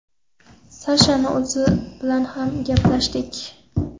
Sashani o‘zi bilan ham gaplashdik.